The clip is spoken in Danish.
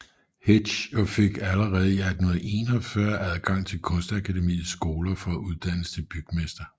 Hetsch og fik allerede i 1841 adgang til Kunstakademiets skoler for at uddannes til bygmester